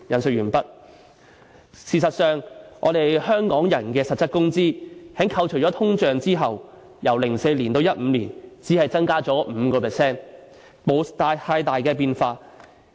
"事實上，我們香港人的實質工資在扣除通脹後，由2004年至2015年，只增加了 5%， 並沒有太大變化。